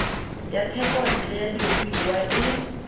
ya thekontle ya diruiwa e